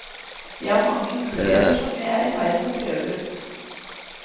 Jeg har mange muligheter som jeg er i ferd med å prøve ut.